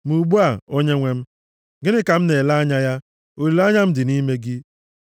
“Ma ugbu a, Onyenwe m, gịnị ka m na-ele anya ya? Olileanya m dị nʼime gị.